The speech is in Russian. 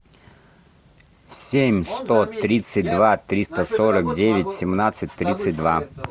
семь сто тридцать два триста сорок девять семнадцать тридцать два